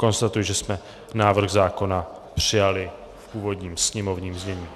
Konstatuji, že jsme návrh zákona přijali v původním sněmovním znění.